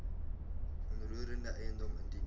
onroerende eiendom indien